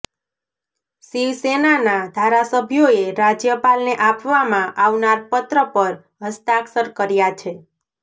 શિવસેનાના ધારાસભ્યોએ રાજ્યપાલને આપવામાં આવનાર પત્ર પર હસ્તાક્ષર કર્યા છે